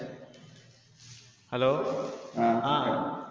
hello ആ